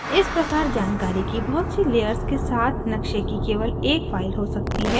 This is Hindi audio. इस प्रकार जानकारी की बहुत सी layers के साथ नक़्शे की केवल एक file हो सकती है